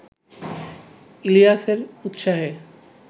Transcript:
ইলিয়াসের উত্সাহে